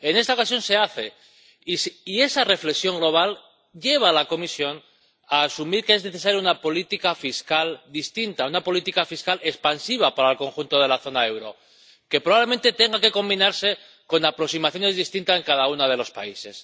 En esta ocasión se hace. Y esa reflexión global lleva a la Comisión a asumir que es necesaria una política fiscal distinta, una política fiscal expansiva para el conjunto de la zona del euro, que probablemente tenga que combinarse con aproximaciones distintas en cada uno de los países.